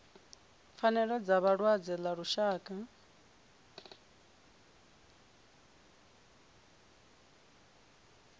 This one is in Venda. pfanelo dza vhalwadze ḽa lushaka